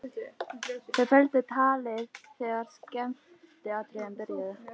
Þau felldu talið þegar skemmtiatriðin byrjuðu.